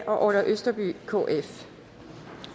orla østerby